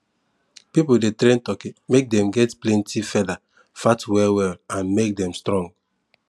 people de train turkey make dem get plenty feather fat well well and make them strong